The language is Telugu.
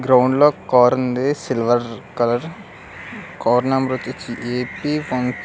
గ్రౌండ్ లో కార్ ఉంది సిల్వర్ కలర్ కార్ నెంబర్ వచేసి ఏ_పి వన్ --